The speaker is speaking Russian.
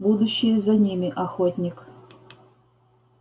будущее за ними охотник